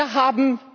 haben,